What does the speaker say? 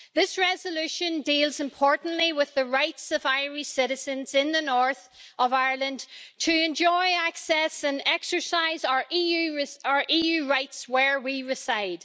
This resolution deals, importantly, with the rights of Irish citizens in the north of Ireland to enjoy access and exercise our EU rights where we reside.